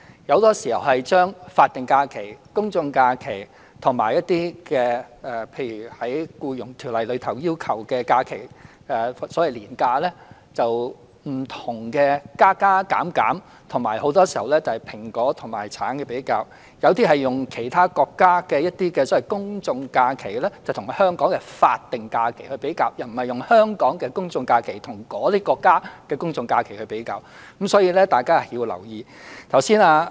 很多時候，他們把法定假日、公眾假期和一些《僱傭條例》要求的假期作不同的加加減減，以及很多時候作出"蘋果"和"橙"的比較；有些議員則用其他國家的公眾假期與香港的法定假日比較，而不是用香港的公眾假期與那些國家的公眾假期比較，所以大家要留意。